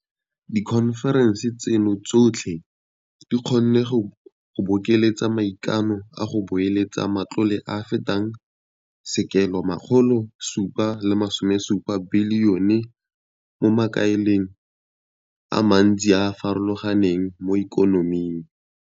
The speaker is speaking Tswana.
Dikhonferense tseno tsotlhe di kgonne go bokeletsa maikano a go beeletsa matlole a a fetang R770 bilione mo makaleng a mantsi a a farologaneng mo ikonoming.